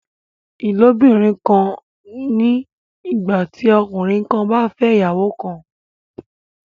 Ìlóbìnrin kan ni ìgbà tí ọkùnrin kan bá fẹ́ ìyàwó kan